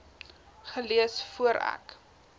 gelees voor ek